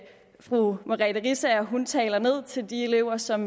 fru merete riisager taler ned til de elever som